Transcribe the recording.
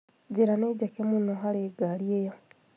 Njĩra nĩ njeke mũno harĩ ngari ĩyo